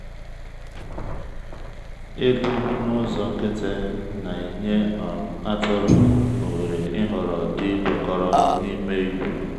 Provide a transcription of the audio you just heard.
ịlụ n’ụzọ nkịtị na-enye um atụrụ ohere ịhọrọ di kwekọrọ n’ime ìgwè.